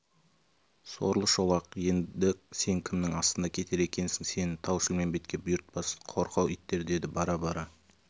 сорлы шолақ енді сен кімнің астында кетер екенсің сені тау-шілмембетке бұйыртпас қорқау иттер деді бар бара